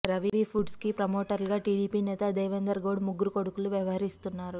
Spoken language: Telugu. రవి ఫుడ్స్కి ప్రమోటర్స్గా టీడీపీ నేత దేవెందర్ గౌడ్ ముగ్గురు కొడుకులు వ్యవహరిస్తున్నారు